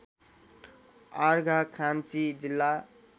अर्घाखाँची जिल्ला